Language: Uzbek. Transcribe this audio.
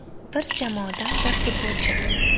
Bir jamoadan bir futbolchi.